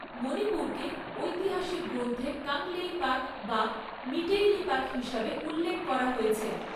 মণিপুরকে ঐতিহাসিক গ্রন্থে কাংলেইপাক বা মিটেইলিপাক হিসাবে উল্লেখ করা হয়েছে।